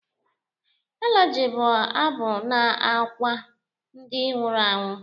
Elegy bụ abụ na-akwa ndị nwụrụ anwụ